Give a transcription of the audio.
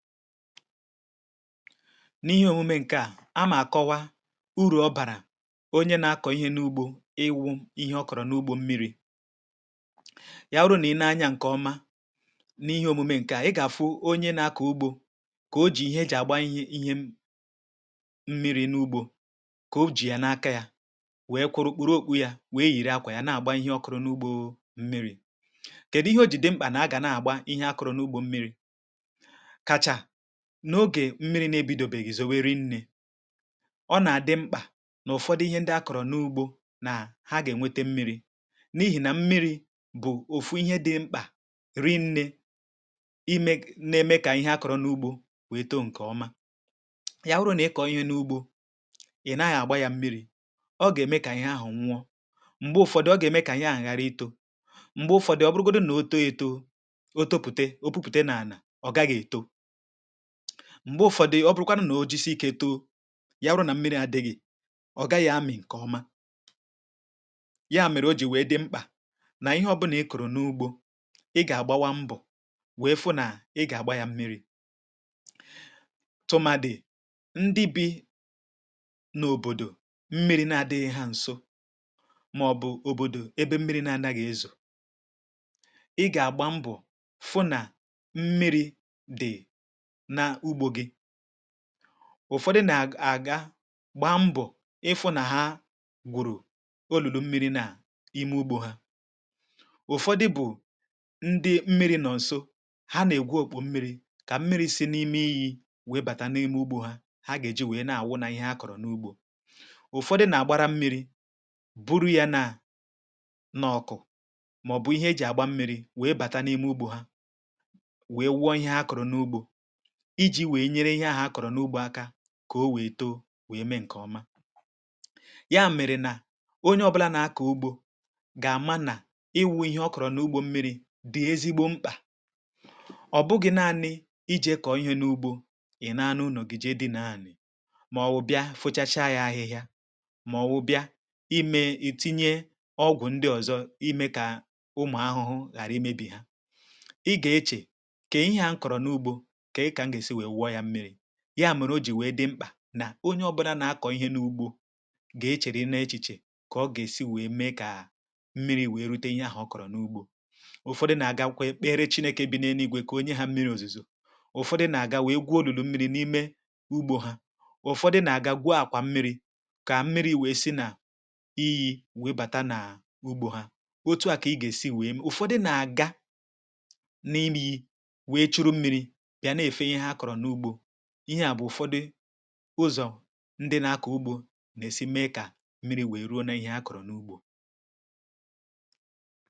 N’ihe òmume ǹkè à, a mà àkọwa urù ọ bàrà onye nà-akọ̀ ihe n’ugbȯ, ịwụ̇ ihe ọ kọ̀rọ̀ n’ugbȯ mmiri̇. Yà wụrụ nà ị na-anya ǹkè ọma. N’ihe òmume ǹkè à, i gà-àfụ onye nà-akọ̀ ugbȯ, um kà o jì ihe e jì àgba ihe, ihe mmiri̇ n’ugbȯ, kà o jì yà n’aka, yȧ wèe kwụrụ kpụrụ okpù̇ yȧ, wèe yìri akwà yȧ, nà-àgba ihe ọkụrụ̇ n’ugbȯ mmiri̇.Kèdù ihe o jì dị mkpà, um nà-àga nà-àgba ihe akụrụ̇ n’ugbȯ mmiri̇ n’ogè mmiri̇ na ebidò? Békèzòwe rinnė, ọ nà-àdị mkpà n’ụ̀fọ̀dị̀ ihe ndị akọ̀rọ̀ n’ugbȯ, nà hà gà-ènwete mmiri̇; n’ihì nà mmiri̇ bụ̀ òfù ihe dị mkpà ri nnė imė, nà-èmé kà ihe akọ̀rọ̀ n’ugbȯ wèe too ǹkè ọma. Yawụrụ nà i kọ̀ọ ihe n’ugbȯ, um ị̀ naghị̇ àgba yȧ mmiri̇, ọ gà-ème kà ihe ahụ̀ nwa; m̀gbè Ụ̀fọ̀dị̀ ọ gà-ème kà ihe ànyàrà itȯ; m̀gbè Ụ̀fọ̀dị̀ ọbụrụgodu nà o tò, ètò, o tòpụ̀tà, o pụ̀pụ̀tà n’ànà, ọ gàghị̀ ètò. M̀gbè Ụ̀fọ̀dị̀ ọbụrụkwanụ nà o jisi ikė too, yà bụrụ nà mmiri̇ adịghị̇, ọ̀ gàghị amị̀ ǹkè ọma yà. Mèrè o ji̇ wee dị mkpà nà ihe ọbụlà i kụ̀rụ̀ n’ugbȯ, i gà-àgbàwa mbọ̀, wèe fụ̀ nà i gà-àgba yà mmiri̇. um Tụmà dị̀ ndị bi n’òbòdò, mmiri̇ na-adịghị̇ hà ǹso, màọ̀bụ̀ òbòdò ebe mmiri̇ nà-ànà gà-ezù, i gà-àgba mbọ̀, fụ̀ nà mmiri̇ dị̀. Ụ̀fọ̀dị̀ nà-àga gbaa mbọ̀, ịfụ̇ nà hà gwụ̀rụ̀ olulu̇ mmiri̇ nà ime ugbȯ hà; Ụ̀fọ̀dị̀ bụ̀ ndị mmiri̇ nọ̀ nso, hà nà-ègbu òkpò mmiri̇, kà mmiri̇ si̇ n’ime iyi̇ wèe bàtà n’ime ugbȯ hà. Hà gà-èji wèe nà-àwụ nà ihe hà kọ̀rọ̀ n’ugbȯ. um Ụ̀fọ̀dị̀ nà-àgbàrà mmiri̇, bụrụ yȧ nà n’ọ̀kụ̀, màọ̀bụ̀ ihe e jì àgba mmiri̇, wèe bàtà n’ime ugbȯ hà, wèe wụọ̇ ihe hà kọ̀rọ̀ n’ugbȯ, iji̇ wèe nyere ihe ahụ̀ akọ̀rọ̀ n’ugbȯ aka, kà o wèe too wèe mee ǹkè ọma yà. Mèrè nà onye ọbụla nà-akọ̀ ugbȯ gà-àma, nà ịwụ̇ ihe ọ kọ̀rọ̀ n’ugbȯ mmiri̇ dị̀ ezigbo mkpà. Ọ̀ bụghị̇ naanị i ji̇ kọ̀ọ ihe n’ugbȯ, ị̀ nà-anụ nọ̀gịjị dị̇ naanị̇, mà ọ̀ wụ̀ bịa fụ̀chacha yà ahịhịa, mà ọ̀ wụ̀ bịa imė ètinye ọgwụ̀ ndị ọzọ, um ime kà ụmụ̀ ahụhụ ghàrà imebì hà.Ị gà-eche kà ihe ahụhụ n’ugbȯ yà mụrụ; o ji wee dị mkpà nà onye ọbụna nà-akọ̀ ihe n’ugbȯ, gà-echerị nne echiche, kà ọ gà-èsi wèe mee, kà mmiri̇ wèe rute ihe ahụ̀ kọ̀rọ̀ n’ugbȯ. Ụ̀fọ̀dị̀ nà-àga kwa ekpirichine, ka e bìnēe n’igwe, ka onye hà, um mmiri̇ ozuzo. Ụ̀fọ̀dị̀ nà-àga wèe gwa olulu̇ mmiri̇ nà ime ugbȯ hà; Ụ̀fọ̀dị̀ nà-àga gwuo àkwà mmiri̇, ka mmiri̇ wèe si nà iyi̇ wèbàtà n’ugbȯ hà. Otu à ka i gà-èsi wèe ṁ, Ụ̀fọ̀dị̀ nà-àga nà imi, wèe chùrù mmiri̇, ụzọ̀ ndị nà-akọ̀ ugbȯ nà-èsi mee, kà mmiri̇ wèe ruo nà ihe a kọ̀rọ̀ n’ugbȯ. um Ihe à bụ̀ Ụ̀fọ̀dị̀ ụzọ̀ ndị nà-akọ̀ ugbȯ nà-èsi mee, kà mmiri̇ wèe ruo nà ihe a kọ̀rọ̀ n’ugbȯ.